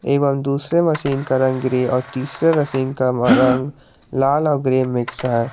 एवं दूसरे मशीन का रंग ग्रे और तीसरे मशीन का मा रंग लाल और ग्रीन मिक्स है।